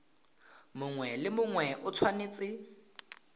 mongwe le mongwe o tshwanetse